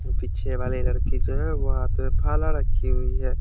पीछे वाली लड़की जो वो हाथ में भला रखी हुई है।